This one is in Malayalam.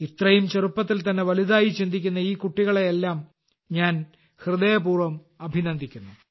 ഇത്രയും ചെറുപ്പത്തിൽ തന്നെ വലുതായി ചിന്തിക്കുന്ന ഈ കുട്ടികളെയെല്ലാം ഞാൻ ഹൃദയപൂർവ്വം അഭിനന്ദിക്കുന്നു